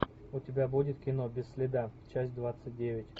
у тебя будет кино без следа часть двадцать девять